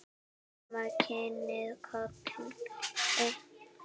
Mamma kinkaði kolli.